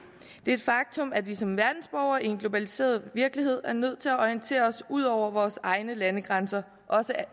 et faktum at vi som verdensborgere i en globaliseret virkelighed er nødt til at orientere os ud over vores egne landegrænser også